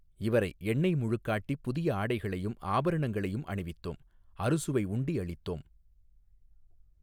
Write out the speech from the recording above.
இவரை எண்ணெய் முழுக்காட்டிப் புதிய ஆடைகளையும் ஆபரனங்களையும் அணிவித்தோம் அறுசுவை உண்டி அளித்தோம்.